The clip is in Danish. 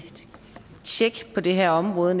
tjek på det her område